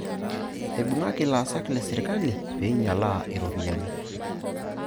Eibung'aki ilaasak leserkali pee einyialaa iropiyiani.